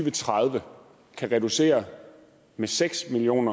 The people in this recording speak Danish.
og tredive kan reducere med seks million